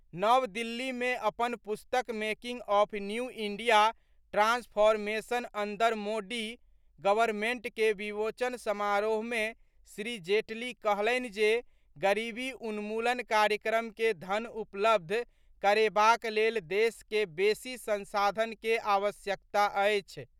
नव दिल्ली मे अपन पुस्तक making of new India transformation under Modi government के विमोचन समारोह मे श्री जेटली कहलनि जे गरीबी उन्मूलन कार्यक्रम के धन उपलब्ध करेबाक लेल देश के बेसी संसाधन के आवश्यकता अछि।